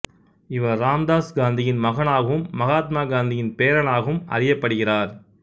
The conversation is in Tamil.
இவர் ராம்தாஸ் காந்தியின் மகனாகவும் மகாத்மா காந்தியின் பேரனாகவும் அறியப்படுகிறார்